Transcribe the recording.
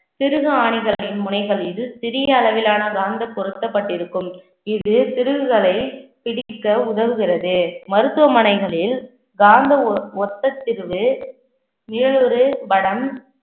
திருகு ஆணிகளின் முனைகள் மீது சிறிய அளவிலான காந்த பொருத்தப்பட்டிருக்கும். இது திருகுகளை பிடிக்க உதவுகிறது. மருத்துவமனைகளில் காந்த ஒ~ ஒத்த வடம்